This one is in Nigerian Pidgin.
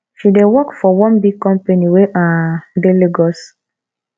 she dey work for one big company wey um dey lagos